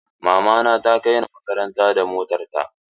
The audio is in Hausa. Mama na ta kai ni makaranta da motar ta.